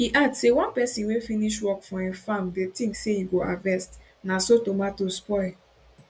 e add say one pesin wey finish work for im farmdey tink say im go harvest na so tomato spoil